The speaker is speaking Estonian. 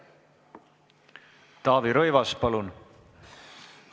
Taavi Rõivas, palun!